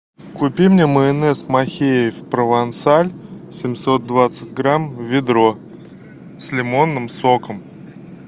купи мне майонез махеев провансаль семьсот двадцать грамм ведро с лимонным соком